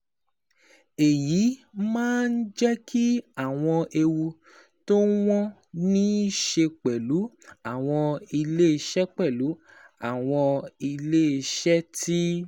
Èyí máa ń jẹ́ kí àwọn ewu tí wọ́n ní í ṣe pẹ̀lú àwọn iléeṣẹ́ pẹ̀lú àwọn iléeṣẹ́ tí